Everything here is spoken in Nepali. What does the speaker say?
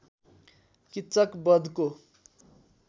किच्चक बधको